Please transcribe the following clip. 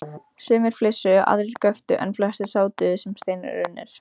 Sumir flissuðu, aðrir göptu en flestir sátu sem steinrunnir.